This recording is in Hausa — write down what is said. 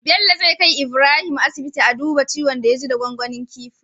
Bello zai kai Ibrahim asibiti a duba ciwon da ya ji da gwangwanin kifin